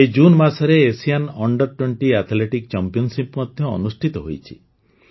ଏହି ଜୁନ୍ ମାସରେ Asian under twenty athletics championship ମଧ୍ୟ ଅନୁଷ୍ଠିତ ହୋଇଛି